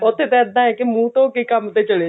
ਉੱਥੇ ਇੱਦਾਂ ਹੈ ਕਿ ਮੁੰਹ ਧੋ ਕਿ ਕੰਮ ਤੇ ਚਲੇ ਜਾਓ